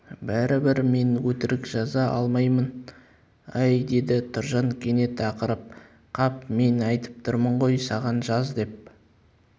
бәрібір мен өтірік жаза алмаймын әй деді тұржан кенет ақырып қап мен айтып тұрмын ғой саған жаз деп